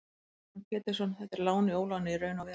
Heimir Már Pétursson: Þetta er lán í óláni í raun og veru?